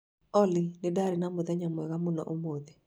Olly, nĩ ndaarĩ na mũthenya mwega mũno ũmũthĩ.